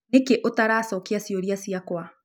Nĩkĩ ũtaracokĩa cĩũrĩa cĩakwa?